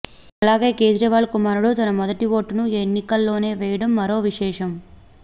అలాగే కేజ్రీవాల్ కుమారుడు తన మొదటి ఓటును ఈ ఎన్నికల్లోనే వేయడం మరో విశేషం